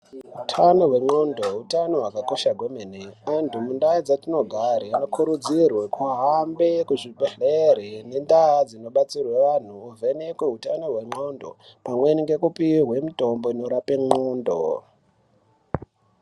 Utano hwendxondo utano hwakakosha kwemene. Antu mundaa dzatinogare anokurudzirwe kuhambe kuzvibhedleri nendaa dzinobatsirwe vanhu ovhenekwe utano hwendxondo, pamweni nekupihwe mutombo inorape ndxondo.